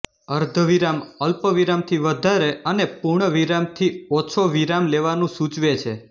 અર્ધવિરામ અલ્પ વિરામથી વધારે અને પૂર્ણ વિરામથી ઓછો વિરામ લેવાનું સૂચવે છે